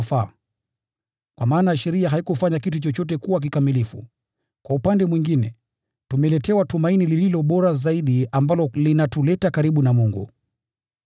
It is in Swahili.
(kwa maana sheria haikufanya kitu chochote kuwa kikamilifu). Kwa upande mwingine, tumeletewa tumaini lililo bora zaidi ambalo linatuleta karibu na Mungu.